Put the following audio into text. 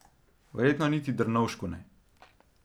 Verjetno niti Drnovšku ne.